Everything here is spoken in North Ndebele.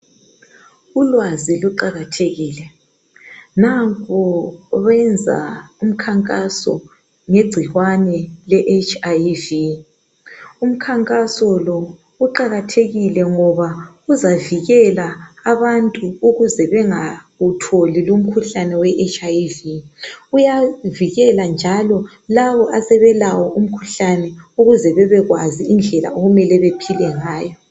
Ulwazi luqakathekile, nampo benza umkhankaso ngegcikwane le HIV, umkhankaso lo uqakathekile ngoba uzavikela abantu ukuze bengatholi lumkhuhlane we HIV , uyavikela njalo labo asebelawo umkhuhlane ukuze bebekwazi indlela okumele bephile ngayo